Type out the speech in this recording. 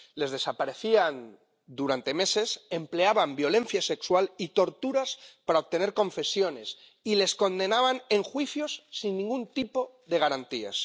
Las hacían desaparecer durante meses, empleaban violencia sexual y torturas para obtener confesiones, y las condenaban en juicios sin ningún tipo de garantías.